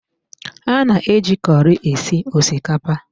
A na-eji kọri esi osikapa